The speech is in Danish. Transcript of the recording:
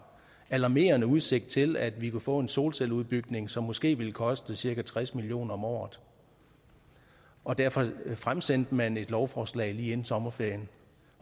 alarmerende udsigt til at vi kunne få en solcelleudbygning som måske ville koste cirka tres million kroner om året og derfor fremsatte man et lovforslag lige inden sommerferien